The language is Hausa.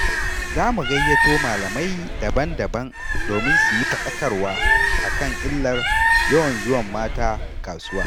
Za mu gayyato malamai daban-daban, domin suyi faɗakarwa a kan illar yawan zuwan mata kasuwa.